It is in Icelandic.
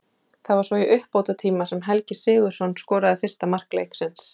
Það var svo í uppbótartíma sem Helgi Sigurðsson skoraði fyrsta mark leiksins.